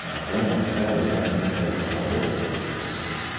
он настраивает на самостоятельную работу в том числе там